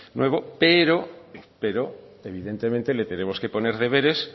nuevo pero pero evidentemente le tenemos que poner deberes